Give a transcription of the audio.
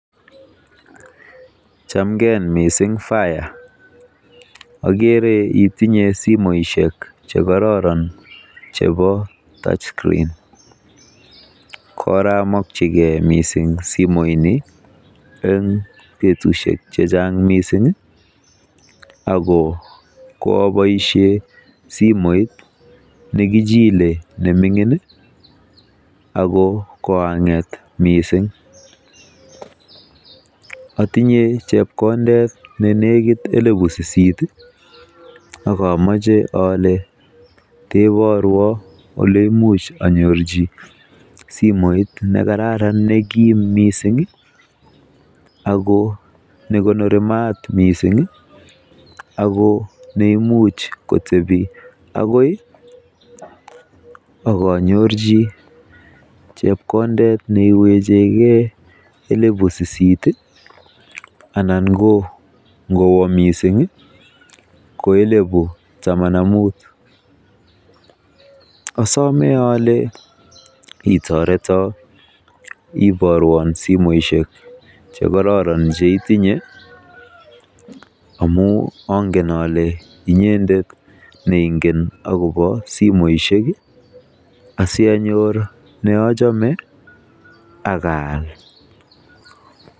Chamken mising faiya, ogere itinye simoishek che kororon chebo touch screen koramokyige mising simoinin en betushek che chang mising ago koraboisie simoit nikichiel ne ming'in ago korang'et mising. Otinye chepkondet ne negit elibu sisit ak ooche ole keborwon ole imuch anyorji simoit nekararan nekim mising ago nekonori maat mising ago neimuch kotebi agoi ak anyorji chepkondet ne wechenge elibu sisit anan ko ngowo mising ko elibu taman ak mut. Asome ole itoreton iborwon simoishek che kororon che itinye amun ongen ole inyendet ne ingen agobo simoishek asianyor ne ochome ak aal.